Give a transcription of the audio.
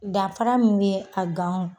Danfara min bɛ a ganw